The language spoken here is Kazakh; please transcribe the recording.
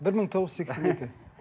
бір мың тоғыз жүз сексен екі